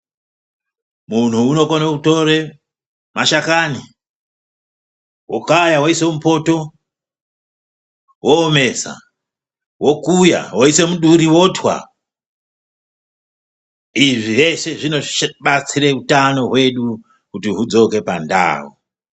Munhu unokone kutore mashakani okaya oise mupoto, oomesa, okuya oise muduri otwa. Izvi zveshe zvinobatsire utano hwedu kuti hudzoke pandau.